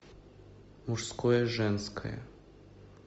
мужское женское